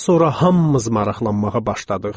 Daha sonra hamımız maraqlanmağa başladıq.